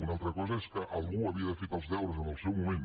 una altra cosa és que algú hauria d’haver fet els deures en el seu moment